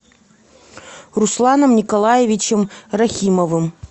русланом николаевичем рахимовым